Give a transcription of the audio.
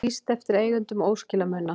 Lýst eftir eigendum óskilamuna